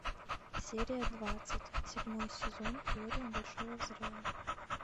серия двадцать седьмой сезон теория большого взрыва